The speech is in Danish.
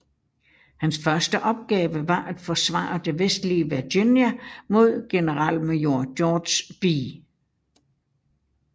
Hans første opgave var at forsvare det vestlige Virginia mod generalmajor George B